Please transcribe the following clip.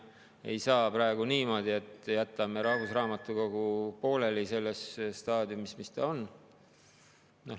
Ei saa praegu niimoodi, et jätame rahvusraamatukogu pooleli selles staadiumis, kus ta on.